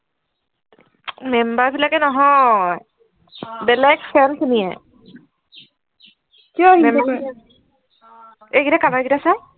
member বিলাকে নহয় বেলেগ ছোৱালী জনিয়ে কিয় এই গিটা color গিটা চা